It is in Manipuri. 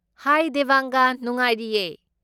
ꯍꯥꯏ ꯗꯦꯕꯥꯡꯒꯥ! ꯅꯨꯡꯉꯥꯏꯔꯤꯌꯦ꯫